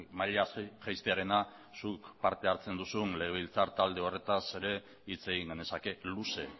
maila jaistearena zuk parte hartzen duzun legebiltzar talde horretaz ere hitz egin genezake luze